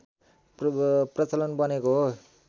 प्रचलन बनेको हो